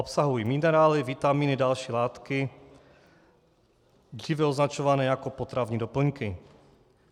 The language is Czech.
Obsahují minerály, vitamíny, další látky, dříve označované jako potravní doplňky.